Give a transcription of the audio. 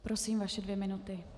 Prosím, vaše dvě minuty.